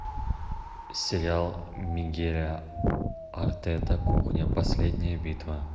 сериал мигеля артета кухня последняя битва